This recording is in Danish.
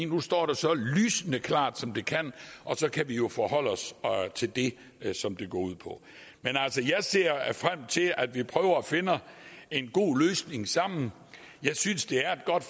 nu står det så lysende klart som det kan og så kan vi jo forholde os til det som det går ud på men altså jeg ser frem til at vi prøver at finde en god løsning sammen jeg synes det er et godt